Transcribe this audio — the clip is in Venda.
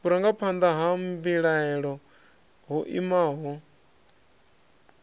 vhurangaphanḓa ha mbilahelo ho imaho